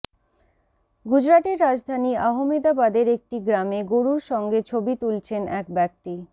গুজরাটের রাজধানী আহমেদাবাদের একটি গ্রামে গরুর সঙ্গে ছবি তুলছেন এক ব্যক্তি